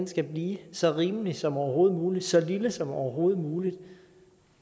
skal blive så rimelig som overhovedet muligt så lille som overhovedet muligt